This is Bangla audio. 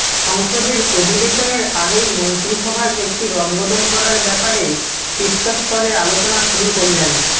সংসদের অধিবেশনের আগেই মন্ত্রিসভার একটি রদবদল করার ব্যাপারে শীর্ষ স্তরে আলোচনা শুরু করলেন